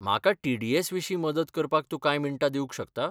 म्हाका T D S विशीं मदत करपाक तूं कांय मिनटां दिवंक शकता ?